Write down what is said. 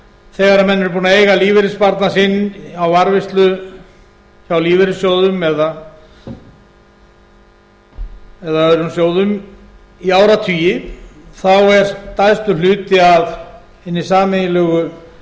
þegar menn eru búnir að eiga lífeyrissparnað sinn í varðveislu hjá lífeyrissjóðum eða öðrum sjóðum í áratugi þá er stærstur hluti af hinni sameiginlegu